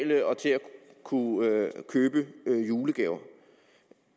kunne købe julegaver